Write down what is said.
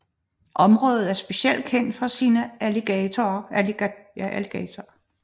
Området er specielt kendt for sine alligatorer